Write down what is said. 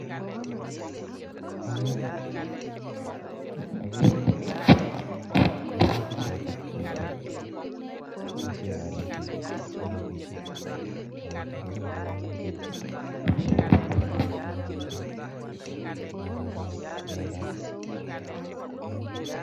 Ageree minutik chotok. Boishee kanetik konetishei sikopit konai miandap minutik.